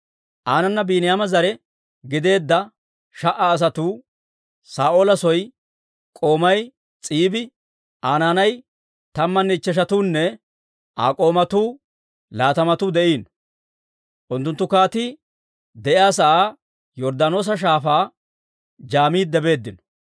Aanana Biiniyaama zare gideedda sha"a asatuu, Saa'oola soo k'oomay S'iibi, Aa naanay tammanne ichcheshatuunne Aa k'oomatuu laatamatuu de'iino. Unttunttu kaatii de'iyaa sa'aa Yorddaanoosa Shaafaa jaamiidde beeddino.